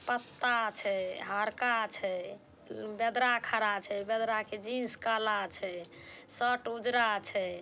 पत्ता छै हारका छै। उ-म बेदरा खड़ा छै। बेदरा के जीन्स काला छै। शर्ट उजरा छै।